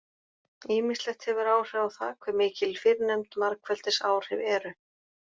Ýmislegt hefur áhrif á það hve mikil fyrrnefnd margfeldisáhrif eru.